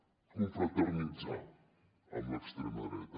bé confraternitzar amb l’extrema dreta